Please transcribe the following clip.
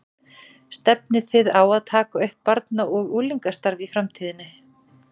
Stefnið þið á að taka upp barna og unglingastarf í framtíðinni?